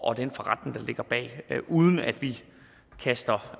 og den forretning der ligger bag uden at vi kaster